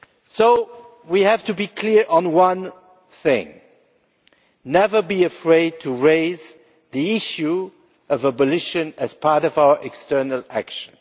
So we have to be clear on one thing never be afraid to raise the issue of abolition as part of our external action.